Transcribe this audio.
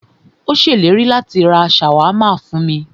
Ó ṣèlérí láti rá ṣàwámà fún mí.